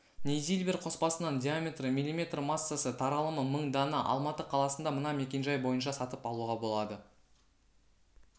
нейзильбер қоспасынан диаметрі мм массасы таралымы мың дана алматы қаласында мына мекенжай бойынша сатып алуға болады